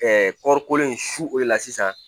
kɔɔri kolo in su o de la sisan